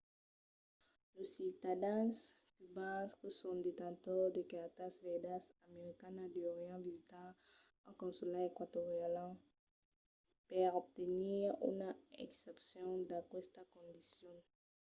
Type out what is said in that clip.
los ciutadans cubans que son detentors de cartas verdas americanas deurián visitar un consulat eqüatorian per obtenir una exempcion d'aquesta condicion